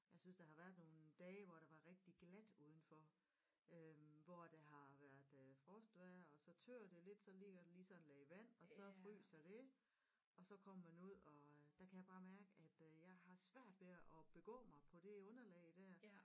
Jeg synes der har været nogle dage hvor der var rigtig glat udenfor øh hvor der har været øh frostvejr og så tør det lidt så ligger der lige sådan et lag vand og så fryser det og så kommer man ud og øh der kan jeg bare mærke at jeg har svært ved at begå mig på det underlag der